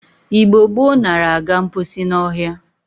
Igbo gboo nara aga mposi n'ohia.